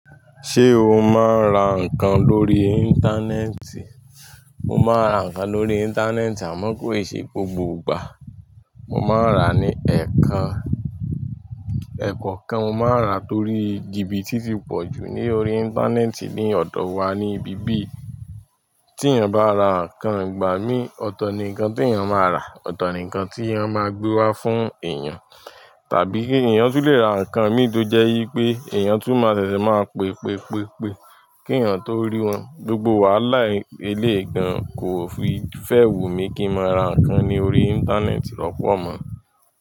Ṣé o máa ń ra nǹkan lórí Íńtánẹ́ẹ̀tì? Mo máa ń ra nǹkan lórí Íńtánẹ́ẹ̀tì àmọ́ kò ì ṣe gbogbo ìgbà. Mo máa ń rà ní ẹ̀ kan, ẹ̀ kọ̀ kan mo máa rà torí jìbìtì tí pọ̀ jù ní orí Íńtánẹ́ẹ̀tì ní ọ̀dọ̀ wá ní ibí bí i tí ènìyàn bá ra nǹkan ìgbà mí, ọ̀tọ̀ ni nǹkan tí ènìyàn máa rà, ọ̀tọ̀ ni nǹkan tí ẹ máa gbé wá fún èyàn. Tàbí kí èèyàn tu lè ra nǹkan mi tó jẹ́ wipé èèyàn tó máa ṣẹ̀ṣẹ̀ máa pe, pe, pe, pe kí ènìyàn tó rí wọn. Gbogbo wàhálà eléègan ko fi fẹ́ wù mí kí n máa ra nǹkan ní orí Íńtánẹ́ẹ̀tì lọ́pọ̀ mọ́.